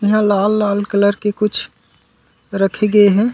इहाँ लाल-लाल कलर के कुछ रखे गे हे।